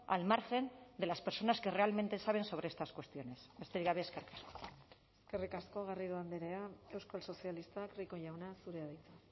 al margen de las personas que realmente saben sobre estas cuestiones besterik gabe eskerrik asko eskerrik asko garrido andrea euskal sozialistak rico jauna zurea da hitza